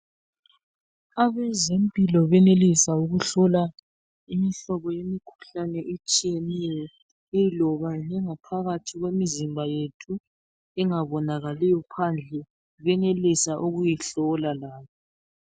Abezempilo benelisa ukuhlola imihlobo yemikhuhlane etshiyeneyo eloba engaphakathi kwemizimba yethu engabonakaliyo phandle benelisa ukuyihlola layo.